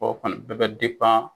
o kɔni bɛɛ bɛ .